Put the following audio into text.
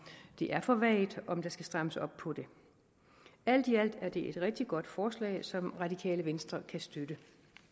de er for vage og om der skal strammes op på dem alt i alt er det et rigtig godt forslag som radikale venstre kan støtte